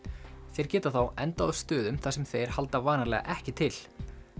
þeir geta þá endað á stöðum þar sem þeir halda vanalega ekki til